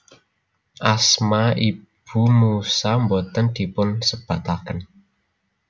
Asma ibu Musa boten dipunsebataken